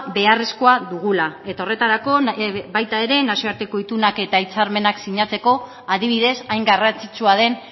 beharrezkoa dugula eta horretarako baita ere nazioarteko itunak eta hitzarmenak sinatzeko adibidez hain garrantzitsua den